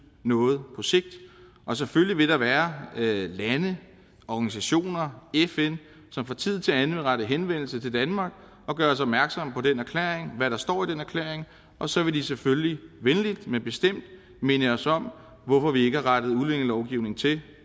noget på sigt selvfølgelig vil der være lande organisationer fn som fra tid til anden vil rette henvendelse til danmark og gøre os opmærksom på den erklæring hvad der står i den erklæring og så vil de selvfølgelig venligt men bestemt minde os om hvorfor vi ikke har rettet udlændingelovgivningen til